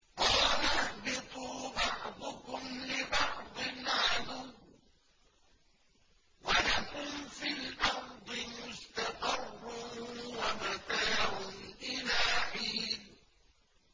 قَالَ اهْبِطُوا بَعْضُكُمْ لِبَعْضٍ عَدُوٌّ ۖ وَلَكُمْ فِي الْأَرْضِ مُسْتَقَرٌّ وَمَتَاعٌ إِلَىٰ حِينٍ